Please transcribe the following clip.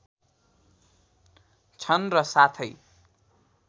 छन् र साथै